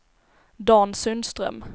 Dan Sundström